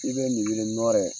I bɛ nin wele Nɔrɛ.